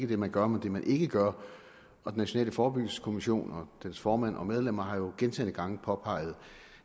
det man gør men det man ikke gør og den nationale forebyggelseskommission og dens formand og medlemmer har gentagne gange påpeget